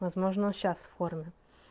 возможно он сейчас в форме